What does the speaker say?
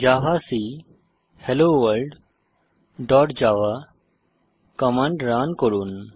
javac hello world dot java command run করুন